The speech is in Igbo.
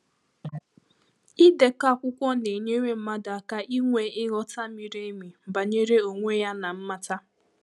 Ịdeko akwụkwọ na-enyere mmadụ aka inwe ịghọta miri emi banyere onwe ya na mmata.